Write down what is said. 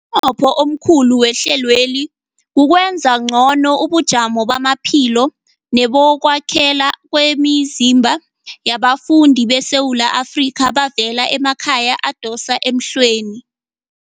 Umnqopho omkhulu wehlelweli kukwenza ngcono ubujamo bamaphilo nebokwakhela kwemizimba yabafundi beSewula Afrika abavela emakhaya adosa emhlweni.